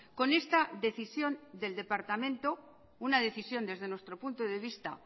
con esta decisión del departamento una decisión desde nuestro punto de vista